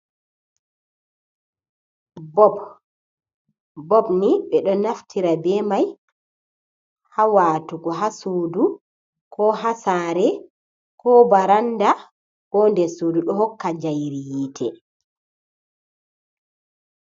Bob. Bob ni ɓe ɗo naftira be mai ha watugu ha sudu, ko ha sare, ko baranda, ko dessudu, ɗo hokka jairi yite.